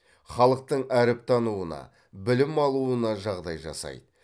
халықтың әріп тануына білім алуына жағдай жасайды